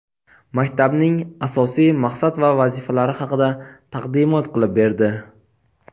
maktabning asosiy maqsad va vazifalari haqida taqdimot qilib berdi.